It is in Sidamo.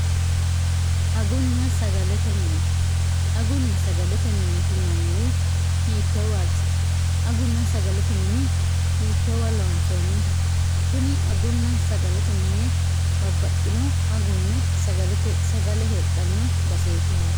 guagunna sagalete minitiinanniwu hiittoowaati agunna sagalete mini hiittoowa loonsooniho kuni agunna sagalete mine mabbaxxino agunna sagale heedhanno baseeti haati